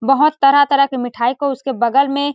बहुत तरह तरह की मिठाई को उसके बगल मे --